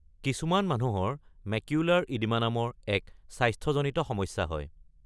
কিছুমান মানুহৰ macular oedema নামৰ এক স্বাস্থ্যজনিত সমস্যা হয়।